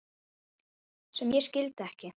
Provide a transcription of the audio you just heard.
sem ég skildi ekki